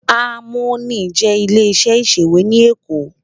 Àmóní jè ilé iṣè iṣéwé ni Ékó